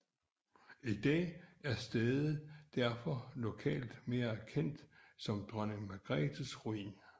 I dag er stedet derfor lokalt mere kendt som Dronning Margrethes Ruin